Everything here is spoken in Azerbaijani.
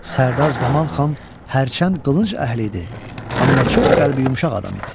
Sərdar Zaman xan hərçənd qılınc əhli idi, amma çox qəlbi yumşaq adam idi.